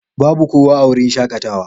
Babu kowa a wurin shakatawa.